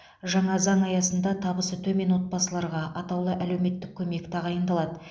жаңа заң аясында табысы төмен отбасыларға атаулы әлеуметтік көмек тағайындалады